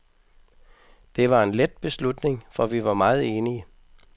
Det var en let beslutning, for vi var meget enige.